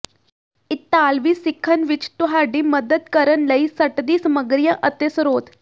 ਇਤਾਲਵੀ ਸਿੱਖਣ ਵਿੱਚ ਤੁਹਾਡੀ ਮਦਦ ਕਰਨ ਲਈ ਸਟੱਡੀ ਸਮੱਗਰੀਆਂ ਅਤੇ ਸਰੋਤ